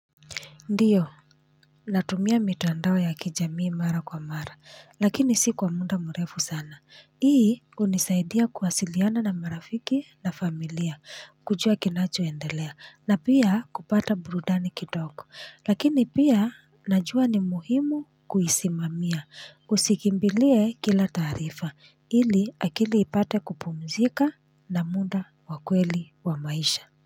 Ndiyo natumia mtandao ya kijamii mara kwa mara lakini si kwa muda mrefu sana hii hunisaidia kuwasiliana na marafiki na familia, kujua kinachoendelea, na pia kupata burudani kidogo. Lakini pia najua ni muhimu kuisimamia, usikimbilie kila taarifa, ili akili ipate kupumzika na muda wa kweli wa maisha.